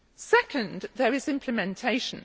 Second, there is implementation.